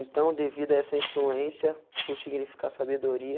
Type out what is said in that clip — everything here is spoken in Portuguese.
Então, devido a essa influência, por significar sabedoria,